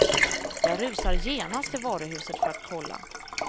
Jag rusar genast till varuhuset för att kolla.